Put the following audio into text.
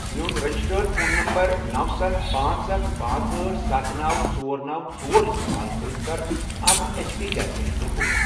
میون registered phone number نوَ، ستھَ، پانژھ، اکھَ، پانژھ، أٹھ، ستھَ، نوَ، ژۄر، نوَ، ژۄر، استعمال کٔرِتھ کَر اکھ H P gas cylinder book.